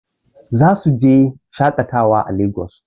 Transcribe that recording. Zasu je shaƙatawa a Lagos.